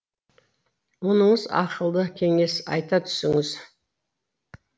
мұныңыз ақылды кеңес айта түсіңіз